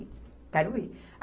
Eu quero ir.